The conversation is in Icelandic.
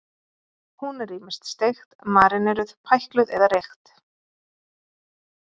Hún er ýmist steikt, maríneruð, pækluð eða reykt.